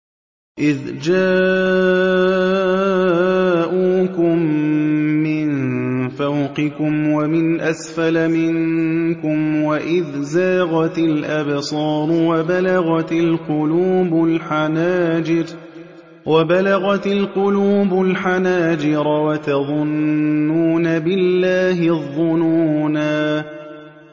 إِذْ جَاءُوكُم مِّن فَوْقِكُمْ وَمِنْ أَسْفَلَ مِنكُمْ وَإِذْ زَاغَتِ الْأَبْصَارُ وَبَلَغَتِ الْقُلُوبُ الْحَنَاجِرَ وَتَظُنُّونَ بِاللَّهِ الظُّنُونَا